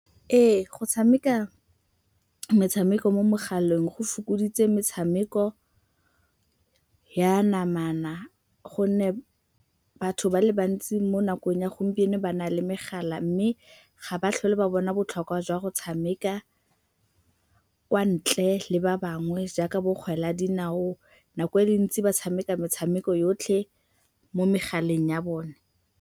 Ee, go tshameka metshameko mo megaleng go fokoditse metshameko ya namana gonne batho ba le bantsi mo nakong ya gompieno ba na le megala mme ga ba tlhole ba bona botlhokwa jwa go tshameka kwa ntle le ba bangwe, jaaka bokgwele ya dinao. Nako e e ntsi ba tshameka metshameko yotlhe mo megaleng ya bone.